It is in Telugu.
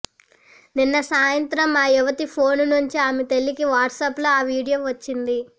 నిన్న సాయంత్రం ఆ యువతి ఫోన్ నుంచి ఆమె తల్లికి వాట్సప్లో ఓ వీడియో వచ్చింది